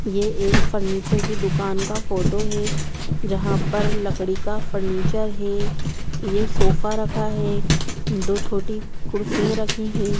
ये एक फर्नीचर की दूकान का फोटो है जहाँ पर लकड़ी का फर्नीचर है ये सोफा रखा है दो छोटी कुर्सियाँ रखी है।